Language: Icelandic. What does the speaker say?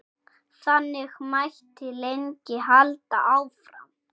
Þannig mætti lengi halda áfram.